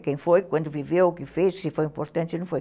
quem foi, quando viveu, o que fez, se foi importante ou não foi.